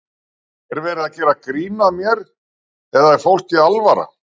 Er verið að gera grín að mér eða er fólki alvara?